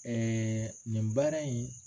Ɛɛ nin baara in